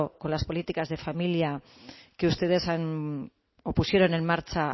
con las políticas de familia que ustedes han o pusieron en marcha